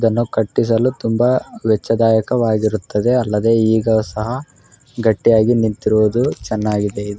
ದನ್ನು ಕಟ್ಟಿಸಲು ತುಂಬಾ ವೆಚ್ಚದಾಯಕ ಆಗಿರುತ್ತದೆ ಅಲ್ಲದೆ ಈಗ ಸಹ ಗಟ್ಟಿಯಾಗಿ ನಿಂತಿರಿವುದು ಚೆನ್ನಾಗಿದೇ.